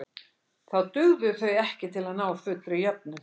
Þá dugðu þau ekki til að ná fullri jöfnun.